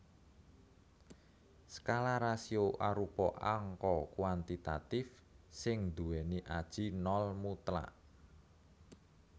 Skala rasio arupa angka kuantitatif sing nduwèni aji nol mutlak